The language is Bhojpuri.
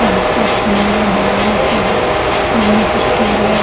सर्फ बा चीनी बा दाल बा सब एक सामने एक स्टोर बा।